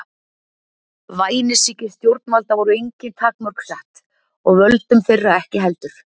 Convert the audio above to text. Vænisýki stjórnvalda voru engin takmörk sett og völdum þeirra ekki heldur.